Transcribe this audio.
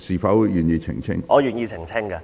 不要緊，我願意澄清。